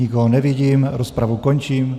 Nikoho nevidím, rozpravu končím.